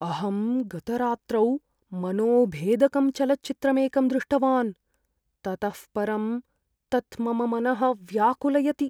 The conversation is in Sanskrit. अहं गतरात्रौ मनोभेदकं चलच्चित्रमेकं दृष्टवान्, ततः परं तत् मम मनः व्याकुलयति।